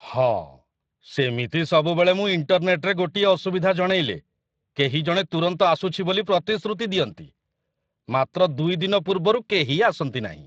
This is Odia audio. ହଁ, ସେମିତି ସବୁବେଳେ ମୁଁ ଇଣ୍ଟରନେଟରେ ଗୋଟିଏ ଅସୁବିଧା ଜଣେଇଲେ, କେହି ଜଣେ ତୁରନ୍ତ ଆସୁଛି ବୋଲି ପ୍ରତିଶ୍ରୁତି ଦିଅନ୍ତି, ମାତ୍ର ଦୁଇ ଦିନ ପୂର୍ବରୁ କେହି ଆସନ୍ତି ନାହିଁ।